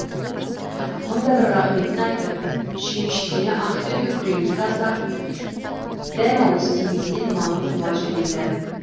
мың да бір рахметін айтып шүйіншісіне ақ төбел күреңді тастап дәмауыз тиместен малын қуа жөнелді